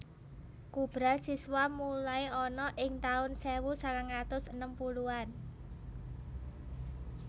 Kubra siswa mulai ana ing tahun sewu sangangatus enem puluhan